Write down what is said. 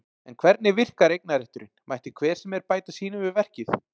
En hvernig virkar eignarétturinn, mætti hver sem er bæta sínu við verkið?